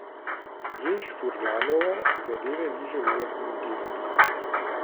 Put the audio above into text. Jež Furlanova zadeve ni želela komentirati.